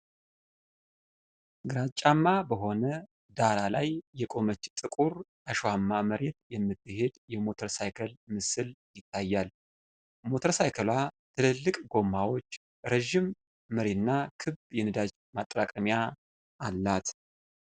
ግራጫማ በሆነ ዳራ ላይ የቆመች ጥቁር አሸዋማ መሬት የምትሄድ የሞተር ሳይክል ምስል ይታያል። ሞተር ሳይክሏ ትልልቅ ጎማዎች፣ ረጅም መሪና ክብ የነዳጅ ማጠራቀሚያ አላት።